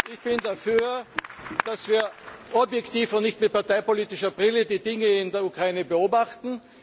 Ich bin dafür, dass wir objektiv und nicht mit parteipolitischer Brille die Dinge in der Ukraine beobachten.